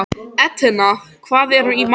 Etna, hvað er í matinn?